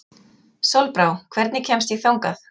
Sólbrá, hvernig kemst ég þangað?